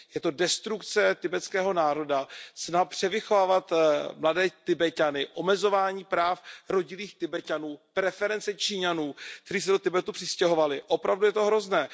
Je to destrukce tibetského národa, snaha převychovávat mladé Tibeťany, omezování práv rodilých Tibeťanů, preference Číňanů, kteří se do Tibetu přistěhovali, opravdu je to hrozné.